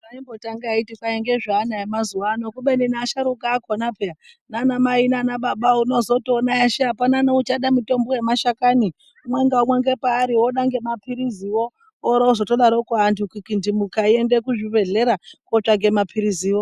Zvaimbotanga achiti ngezveana emazuvano, kubeni nevasharukwa vakona peya naanamai nanababa unozotoona kuti hapana achada mutombo wemashakanyi umwe ngeumwe ngepaari oda ngemaphiriziwo, ora ozotodaroko vantu kukindimuka eiende kuzvibhedhlera kuotsvake maphiriziwo.